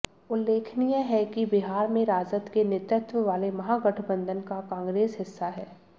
उल्लेखनीय है कि बिहार में राजद के नेतृत्ववाले महागठबंधन का कांग्रेस हिस्सा है